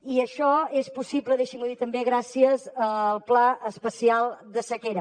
i això és possible deixi’m ho dir també gràcies al pla especial de sequera